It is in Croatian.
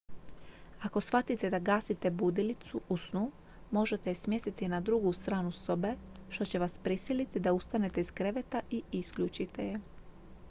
ako shvatite da gasite budilicu u snu možete je smjestiti na drugu stranu sobe što će vas prisiliti da ustanete iz kreveta i isključite je